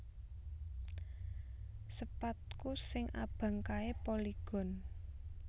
Sepadku sing abang kae Polygon